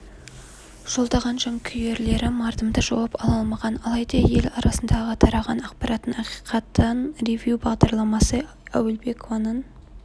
жолдаған жанкүйлерлері мардымды жауап ала алмаған алайда ел арасындағы тараған ақпараттың ақиқатын ревю бағдарламасы әуелбекованың